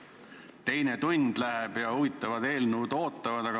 Juba teine tund läheb ja huvitavad eelnõud ootavad.